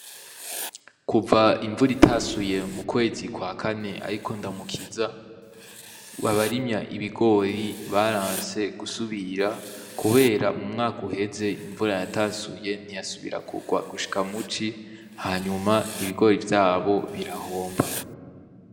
Kuva imvura itasuye mu kwezi kwa kane, ariko ndamukiza babarimya ibigori baranse gusubira, kubera mu mwaka uheze imvura yatasuye ntiyasubira kurwa gushika muci hanyuma ibigori vyabo birahomba.